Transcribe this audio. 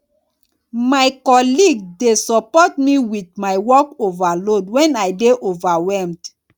my colleague dey support me with my workload when i dey overwhelmed